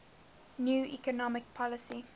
new economic policy